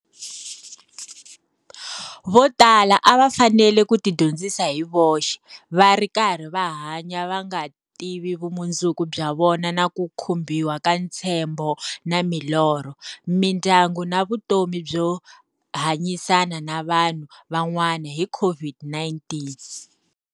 Votala a va fanele ku tidyondzisa hi voxe, va ri karhi va hanya va nga tivi vumundzuku bya vona na ku khumbiwa ka ntshembo na milorho, mindyangu na vutomi byo hanyisana na vanhu van'wana hi COVID19.